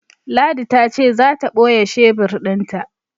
Ladi ta ce za ta ɓoye shebur ɗin ta.